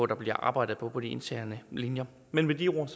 der bliver arbejdet på på de interne linjer men med de ord